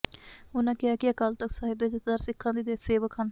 ਉਨ੍ਹਾਂ ਕਿਹਾ ਕਿ ਅਕਾਲ ਤਖ਼ਤ ਸਾਹਿਬ ਦੇ ਜਥੇਦਾਰ ਸਿੱਖਾਂ ਦੇ ਸੇਵਕ ਹਨ